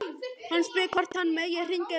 Hann spyr hvort hann megi hringja í mömmu sína.